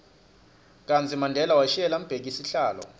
kartsi mandela washiyela mbheki sihlalo